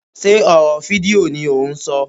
Sé ọ̀rọ̀ fídíò ni ò ń ṣọ.